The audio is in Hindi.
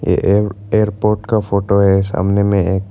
ये एक एयरपोर्ट का फोटो है सामने में एक--